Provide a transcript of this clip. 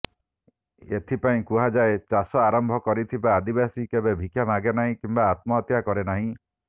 ଏଥିପାଇଁ କୁହାଯାଏ ଚାଷ ଆରମ୍ଭ କରିଥିବା ଆଦିବାସୀ କେବେ ଭିକ୍ଷା ମାଗେ ନାହିଁ କିମ୍ବା ଆତ୍ମହତ୍ୟା କରେ ନାହିଁ